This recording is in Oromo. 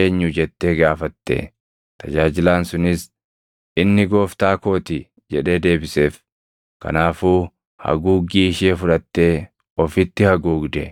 eenyu?” jettee gaafatte. Tajaajilaan sunis, “Inni gooftaa koo ti” jedhee deebiseef. Kanaafuu haguuggii ishee fudhattee ofitti haguugde.